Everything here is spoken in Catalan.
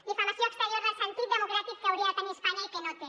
difamació exterior del sentit democràtic que hauria de tenir espanya i que no té